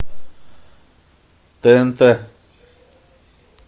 тнт